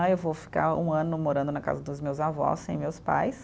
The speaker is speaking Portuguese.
Né, eu vou ficar um ano morando na casa dos meus avós, sem meus pais.